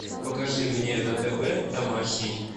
покажи мне на тв домашний